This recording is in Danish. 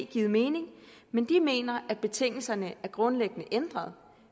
givet mening men de mener at betingelserne er grundlæggende ændret